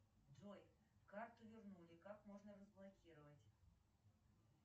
джой карту вернули как можно разблокировать